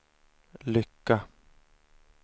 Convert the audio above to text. lycka